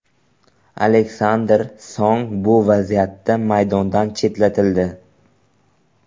Aleksandr Song bu vaziyatda maydondan chetlatildi.